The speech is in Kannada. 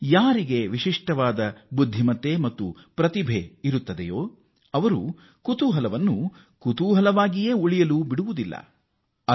ಯಾರಿಗೆ ವಿಶಿಷ್ಟವಾದ ಪ್ರತಿಭೆ ಮತ್ತು ಜ್ಞಾನ ಇರುತ್ತದೋ ಅವರು ಕುತೂಹಲವನ್ನು ಕುತೂಹಲವಾಗಿ ಉಳಿಸಿಕೊಳ್ಳುತ್ತಾರೆ